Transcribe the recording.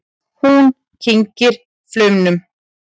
Hún kyngir flaumnum.